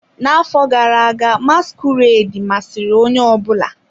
N'afọ gara aga, masquerade masịrị onye ọ bụla.